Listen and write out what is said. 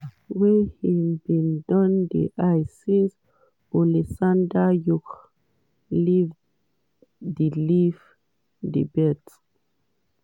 wey im bin don dey eye since oleksandr usyk leave di leave di belt.